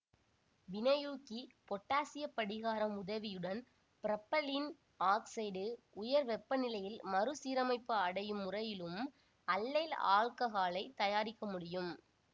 வினையூக்கி பொட்டாசியப் படிகாரம் உதவியுடன் புரோப்பைலீன் ஆக்சைடு உயர் வெப்பநிலையில் மறுசீரமைப்பு அடையும் முறையிலும் அல்லைல் ஆல்ககாலைத் தயாரிக்க முடியும்